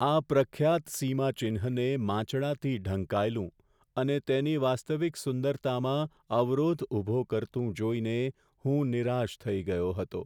આ પ્રખ્યાત સીમાચિહ્નને માંચડાથી ઢંકાયેલું અને તેની વાસ્તવિક સુંદરતામાં અવરોધ ઊભો કરતું જોઈને હું નિરાશ થઈ ગયો હતો.